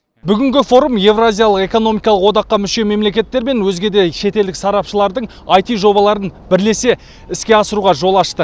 бүгінгі форум еуразиялық экономикалық одаққа мүше мемлекеттер мен өзге де шетелдік сарапшылардың аити жобаларын бірлесе іске асыруға жол ашты